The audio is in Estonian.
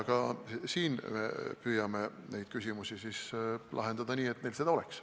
Ka siin me püüame lahendada need küsimused nii, et neil seda oleks.